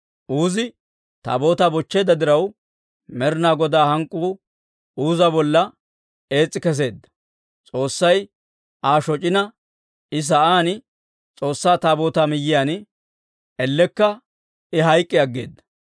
Uuzi Taabootaa bochcheedda diraw, Med'inaa Godaa hank'k'uu Uuza bolla ees's'i kesseedda. S'oossay Aa shoc'ina, he sa'aan S'oossaa Taabootaa miyyiyaan ellekka I hayk'k'i aggeeda.